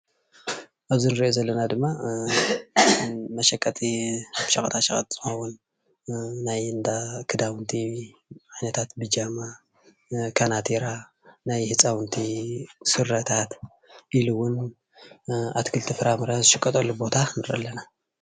ኣብዚ እንሪኦ ዘለና ድማ መሸቀጢ ሸቀጣሸቀጥ ዝኾውን ናይ እንዳ ክዳውንቲ ዓይነታት ብጃማ ፣ካናቲራ፣ ናይ ህፃውንቲ ስረታት ኢሉ ውን ኣትክልትን ፋራምረን ዝሽቀጠሉን ቦታ ንርኢ ኣለና።